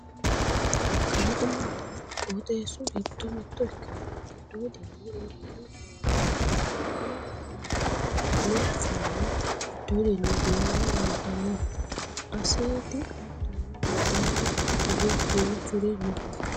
kalaqmunna qooxeessu giddo mitto ikkinowa giddoodinni iibbino foorari fulanna wiliile lawanno fooli giddoodinni fulanna anfanni aseeti hattono badheenni hige duuchuri no